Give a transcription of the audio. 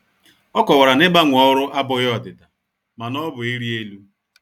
Ọ kowara na ịgbanwe ọrụ abụghị ọdịda, mana ọ bụ ịrị elu.